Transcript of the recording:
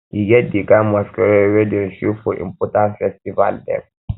e get di kain masqurade wey dey show for important festival dem